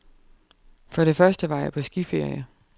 For det første var jeg på skiferie.